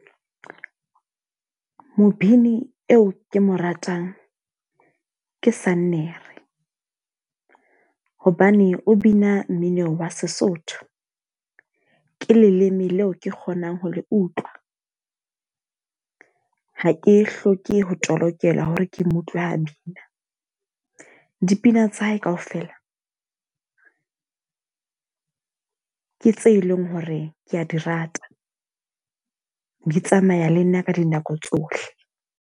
Mobini eo ke mo ratang, ke Sannere. Hobane o bina mmino wa Sesotho. Ke leleme leo ke kgonang ho le utlwa. Ha ke hloke ho tolokelwa hore ke utlwe ha bina. Dipina tsa hae ka ofela, ke tse leng hore ke a di rata. Di tsamaya le nna ka dinako tsohle.